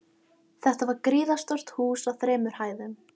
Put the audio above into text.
Þetta var gríðarstórt hús á þremur hæðum.